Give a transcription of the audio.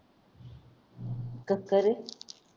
कस काय रे